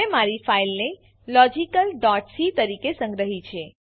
મેં મારી ફાઈલને logicalસી તરીકે સંગ્રહી છે